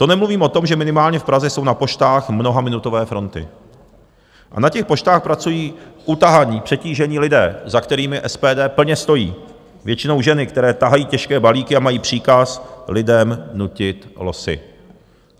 To nemluvím o tom, že minimálně v Praze jsou na poštách mnohaminutové fronty a na těch poštách pracují utahaní, přetížení lidé, za kterými SPD plně stojí, většinou ženy, které tahají těžké balíky a mají příkaz lidem nutit losy.